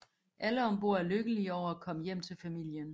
Alle om bord er lykkelige over at komme hjem til familien